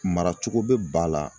Maracogo be ba la